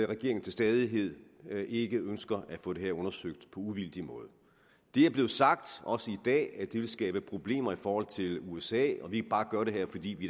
regeringen til stadighed ikke ønsker at få det her undersøgt på uvildig måde det er blevet sagt også i dag at det vil skabe problemer i forhold til usa at vi bare gør det her fordi vi